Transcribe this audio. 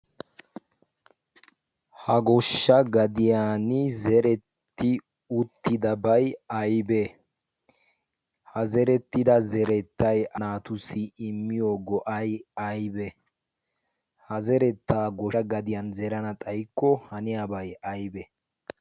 ha goshsha gadiyan zeretti uttidabai aibee ha zerettida zerettai naatussi immiyo go'ai aibee ha zerettaa goshsha gadiyan zerana xayikko haniyaabay aybee?